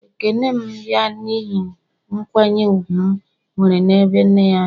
Ekene m ya n'ihi nkwanye ùgwù m nwere n'ebe nne ya nọ